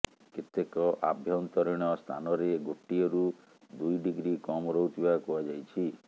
କେତେକ ଆଭ୍ୟନ୍ତରୀଣ ସ୍ଥାନରେ ଗୋଟିଏରୁ ଦୁଇ ଡିଗ୍ରି କମ୍ ରହୁଥିବା କୁହାଯାଇଛି